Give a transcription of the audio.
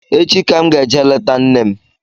Echi ka m ga-eje leta nne m